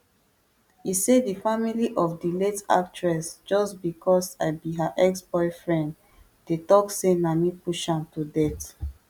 e say di family of di late actress just bicos i be her exboyfriend dey tok say na me push am to death